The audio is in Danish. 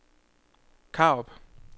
Karup